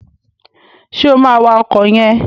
Ṣé o máa wa ọkọ̀ yẹn?